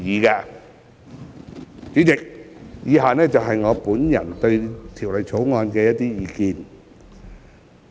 代理主席，以下是我對《條例草案》的意見。